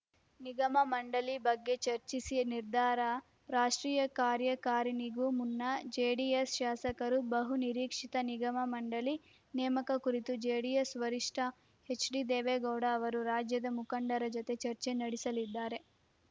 ನಿಗಮಮಂಡಳಿ ಬಗ್ಗೆ ಚರ್ಚಿಸಿ ನಿರ್ಧಾರ ರಾಷ್ಟ್ರೀಯ ಕಾರ್ಯಕಾರಿಣಿಗೂ ಮುನ್ನ ಜೆಡಿಎಸ್‌ ಶಾಸಕರ ಬಹು ನಿರೀಕ್ಷಿತ ನಿಗಮಮಂಡಳಿ ನೇಮಕ ಕುರಿತು ಜೆಡಿಎಸ್‌ ವರಿಷ್ಠ ಎಚ್‌ಡಿದೇವೇಗೌಡ ಅವರು ರಾಜ್ಯದ ಮುಖಂಡರ ಜತೆ ಚರ್ಚೆ ನಡೆಸಲಿದ್ದಾರೆ